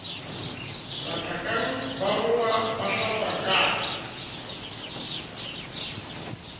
mathakang ba rongwa ba hlatswakang